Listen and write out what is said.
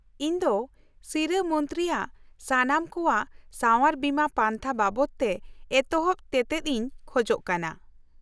-ᱤᱧ ᱫᱚ ᱥᱤᱨᱟᱹ ᱢᱚᱱᱛᱨᱤᱼᱭᱟᱜ ᱥᱟᱱᱟᱢ ᱠᱚᱣᱟᱜ ᱥᱟᱶᱟᱨ ᱵᱤᱢᱟᱹ ᱯᱟᱱᱛᱷᱟ ᱵᱟᱵᱚᱫᱛᱮ ᱮᱛᱚᱦᱚᱵ ᱛᱮᱛᱮᱫ ᱤᱧ ᱠᱷᱚᱡ ᱠᱟᱱᱟ ᱾